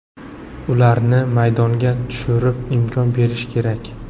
Ularni maydonga tushirib, imkon berish kerak.